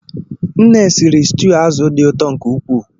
Nne siri stuu azụ̀ dị ụtọ nke ukwuu.